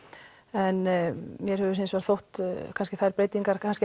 en mér hefur hefur hins vegar þótt þær breytingar